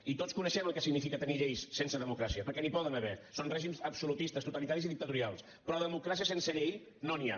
i tots coneixem el que significa tenir lleis sense democràcia perquè n’hi poden haver són règims absolutistes totalitaris i dictatorials però democràcia sense llei no n’hi ha